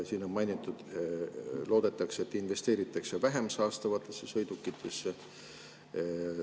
Siin on mainitud, et loodetakse, et investeeritakse vähem saastavatesse sõidukitesse.